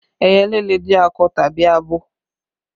Ẹyẹlé le jẹ́ akọ tàbí abo